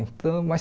Então mas